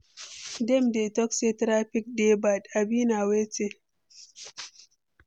dem dey talk say traffic dey bad, abi na wetin?